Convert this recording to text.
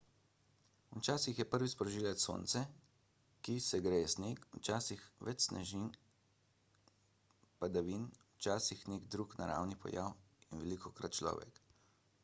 včasih je prvi sprožilec sonce ki segreje sneg včasih več snežnih padavin včasih nek drug naravni pojav in velikokrat človek